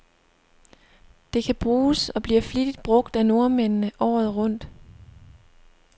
Det kan bruges, og bliver flittigt brug af nordmændene, året rundt.